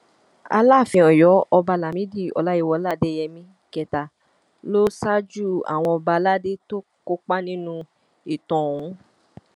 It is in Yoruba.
alaàfin ọyọ ọba lámìdí ọláyíwọlá adéyẹmí kẹta ló ṣáájú àwọn ọba aládé tó kópa nínú ètò ọhún